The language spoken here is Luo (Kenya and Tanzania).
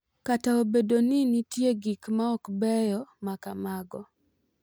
Kata obedo ni nitie gik ma ok beyo ma kamago,